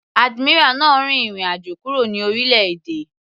Admiral náà rin ìrìn àjò kúrò ní orílẹ̀-èdè.